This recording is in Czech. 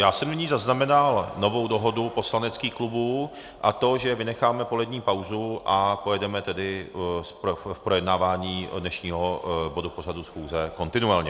Já jsem nyní zaznamenal novou dohodu poslaneckých klubů, a to že vynecháme polední pauzu a pojedeme tedy v projednávání dnešního bodu pořadu schůze kontinuálně.